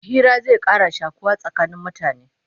Hira zai Ƙara shakuwa tsakanin mutane